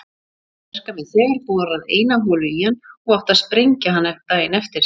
Höfðu verkamenn þegar borað eina holu í hann og átti að sprengja hann daginn eftir.